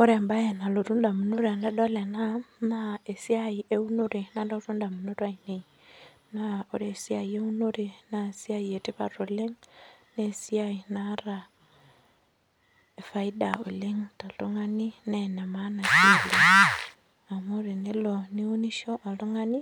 Ore ebae nalotu indamunot tenadol ena, naa esiai eunore nalotu indamunot ainei. Naa ore esiai eunore, nesiai etipat oleng, nesiai naata faida oleng toltung'ani nenemaana si oleng. Amu tenelo niunisho oltung'ani,